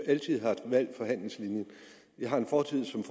altid har valgt forhandlingslinjen jeg har en fortid som